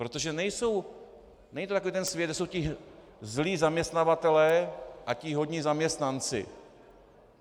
Protože není to takový ten svět, kde jsou ti zlí zaměstnavatelé a ti hodní zaměstnanci.